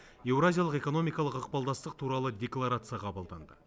еуразиялық экономикалық ықпалдастық туралы декларация қабылданды